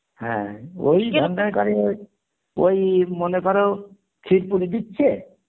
হ্যাঁ ওই কাজে ওই, ওই মনে কর দিচ্ছে